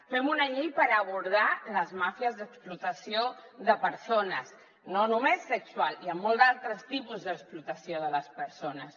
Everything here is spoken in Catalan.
fem una llei per abordar les màfies d’explotació de persones no només sexual hi ha molts altres tipus d’explotació de les persones